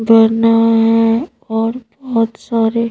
बना है और बहुत सारे--